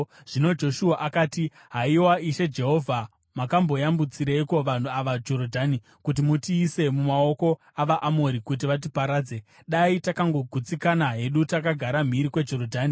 Zvino Joshua akati, “Haiwa! Ishe Jehovha, makamboyambutsirei vanhu ava Jorodhani kuti mutiise mumaoko avaAmori kuti vatiparadze? Dai takangogutsikana hedu takagara mhiri kweJorodhani!